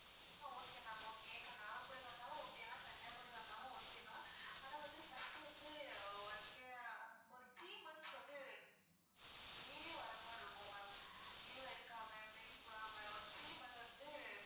ஆஹ் okay ma'am okay இப்போ நாகர்கோவில் வந்தாலும் okay தான் கன்னியாகுமரி வந்தாலும் okay தான் ஆனா வந்து first வந்து நீங்க ஒரு three months வந்து daily வர்றது மாதிரி இருக்கும் ma'am leave எடுக்காம break விடாம ஒரு three month வந்து